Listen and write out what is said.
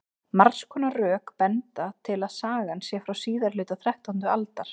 margs konar rök benda til að sagan sé frá síðari hluta þrettándu aldar